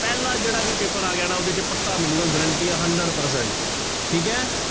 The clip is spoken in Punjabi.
ਪਹਿਲਾ ਜਿਹੜਾ ਵੀ ਪੇਪਰ ਆ ਗਿਆ ਨਾ ਉਹਦੇ ਚ ਪੱਕਾ ਮਿਲੇਗਾ guarantee ਆ hundred percent ਠੀਕ ਹੈ।